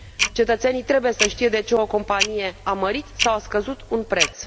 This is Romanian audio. Cetățenii trebuie să știe de ce o companie a mărit sau scăzut un preț.